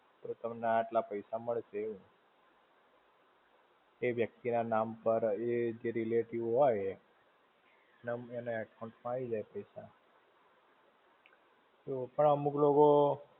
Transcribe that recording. તો તમને આટલા પૈસા મળશે એવું. એ વ્યક્તિ ના નામ પાર, એ જે relative હોય એ, એના account માં આવી જાય પૈસા. તો પણ અમુક લોકો.